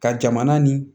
Ka jamana nin